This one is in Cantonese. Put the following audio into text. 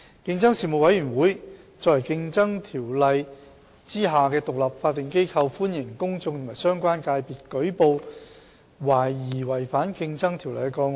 競爭事務委員會作為《競爭條例》下的獨立法定機構，歡迎公眾和相關界別舉報懷疑違反《競爭條例》的個案。